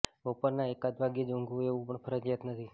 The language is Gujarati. બપોરના એકાદ વાગ્યે જ ઊંઘવું એવું પણ ફરજિયાત નથી